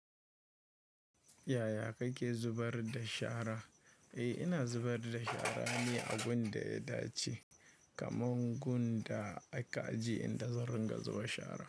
Yaya kake zubar da shara? Eh ina zubar da shara ne a gun da ya dace, kamar gun da aka ajiye inda zan ringa zuba shara.